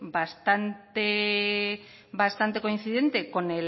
bastante coincidente con